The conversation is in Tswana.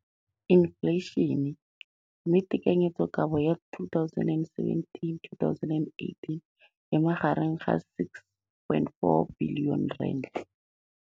Infleišene, mme tekanyetsokabo ya 2017 2018 e magareng ga R6.4 bilione.